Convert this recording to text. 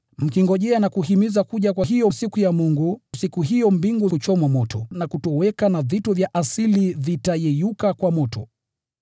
mkingojea na kuhimiza kuja kwa hiyo siku ya Mungu. Siku hiyo italeta mbingu kuchomwa moto na kutoweka, na vitu vya asili vitayeyuka kwa moto.